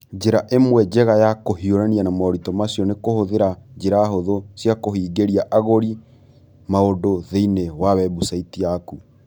Njĩra ĩmwe njega ya kũhiũrania na moritũ macio nĩ kũhũthĩra njĩra hũthũ cia kũhingĩria agũri maũndũ thĩinĩ wa webusaiti yaku.